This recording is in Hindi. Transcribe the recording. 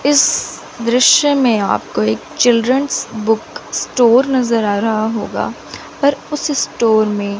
इस दृश्य में आपको एक चिल्ड्रंस बुक स्टोर नजर आ रहा होगा पर उस स्टोर में--